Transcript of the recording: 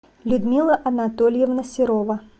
людмила анатольевна серова